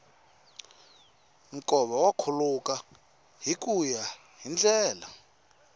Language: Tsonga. nkova wu khuluka hikuya hi ndlela